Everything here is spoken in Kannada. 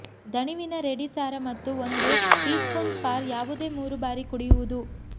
ದಣಿವಿನ ರೆಡಿ ಸಾರ ಮತ್ತು ಒಂದು ಟೀಸ್ಪೂನ್ ಫಾರ್ ಯಾವುದೇ ಮೂರು ಬಾರಿ ಕುಡಿಯುವುದು